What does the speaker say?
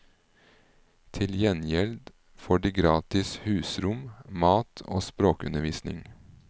Til gjengjeld får de gratis husrom, mat og språkundervisning.